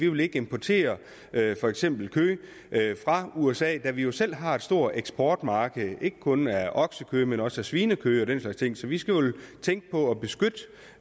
vil importere kød fra usa da vi jo selv har et stort eksportmarked ikke kun af oksekød men også af svinekød og den slags ting så vi skal tænke på